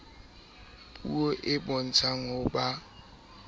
puo e bontshang ho ba